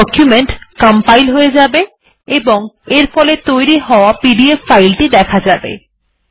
document compile হয়ে যাবে এবং এর ফলে তৈরী হওয়া পিডিএফ ফাইল টি দেখা যাবে